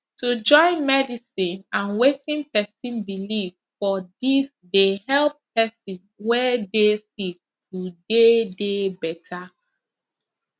to join medicine and wetin pesin believe for dis dey help pesin wey dey sick to dey dey better